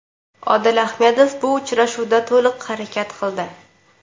Odil Ahmedov bu uchrashuvda to‘liq harakat qildi.